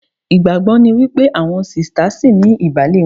Ìgbàgbọ́ ni wípé àwọn sista ṣìní ìbàlé wọn